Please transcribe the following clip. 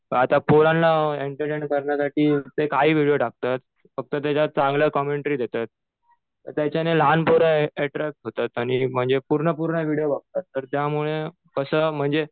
आता पोरांना एन्टरटेन करण्यासाठी ते काही व्हिडीओ टाकतात. फक्त त्याच्यात चांगलं कॉमेंट्री देतात. त्याच्याने लहान पोरं अट्रॅक्ट होतात. आणि म्हणजे पूर्ण पूर्ण व्हिडीओ बघतात. त्यामुळे कसं म्हणजे